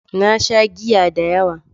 Na sha giya da yawa.